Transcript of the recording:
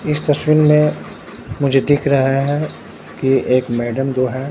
इस तस्वीर में मुझे दिख रहा है कि एक मैडम जो है।